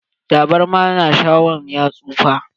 Tabarma na shawa'n ya tsufa.